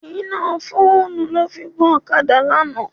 Iná fóònù ló fi gun ọ̀kadà lánàá.